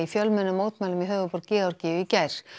fjölmennum mótmælum í höfuðborg Georgíu í gær